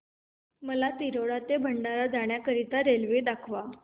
मला तिरोडा ते भंडारा जाण्या करीता रेल्वे दाखवा